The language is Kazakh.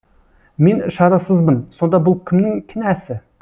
мен шарасызбын сонда бұл кімнің кінәсі